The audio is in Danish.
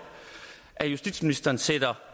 at justitsministeren sætter